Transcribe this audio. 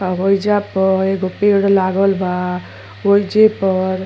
आ होइजा प एगो पेड़ लागल बा। ओइजे पर --